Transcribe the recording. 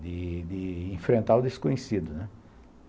de de enfrentar o desconhecido, né?